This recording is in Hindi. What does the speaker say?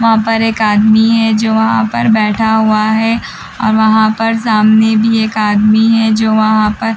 वहाँ पर एक आदमी है जो वहाँ पर बैठा हुआ है और वहाँ पर सामने भी एक आदमी है जो वहाँ पर--